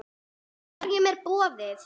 Hverjum er boðið?